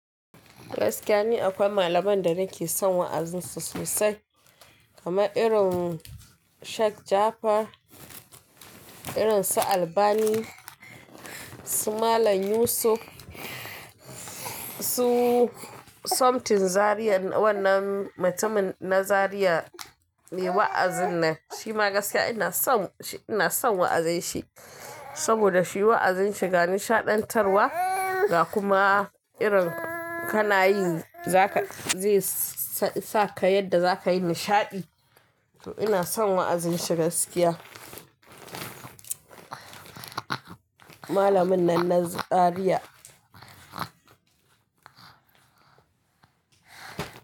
Gaskiya ne akwai malaman da nake son wa'azin su sosai, kamar irin Sheikh Jafar, irin su Albani, su Malam Yusuf, su Somtin Zaria wannan mutumin na Zaria me wa'azin nan. Shi ma gaskiya ina son, ina son wa'azin shi saboda shi wa'azin shi ga nishaɗantarwa ga kuma irin kana yi za ka zai sa ka yadda za ka yi nishaɗi. To ina son wa'azin shi gaskiya. Malamin nan na Zaria.